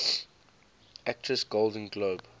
actress golden globe